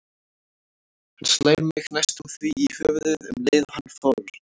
Hann slær mig næstum því í höfuðið um leið og hann fórn